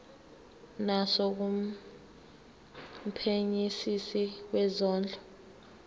naso kumphenyisisi wezondlo